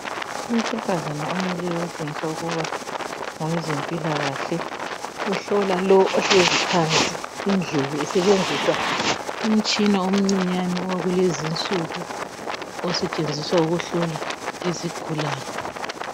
Owesifazane omileyo okutshengisa ukuba ngowezempilakahle, uhlola lo ohlezi phansi indlebe esebenzisa umtshina omncinyane owakulezi insuku osetshenziswa ukuhlola izigulane.